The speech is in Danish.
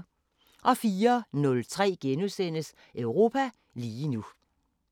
04:03: Europa lige nu *